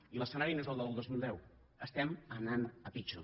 i l’escenari no és el del dos mil deu estem anant a pitjor